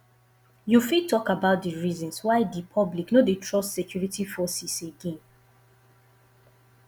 you fit talk about di reasons why di public no dey trust security forces again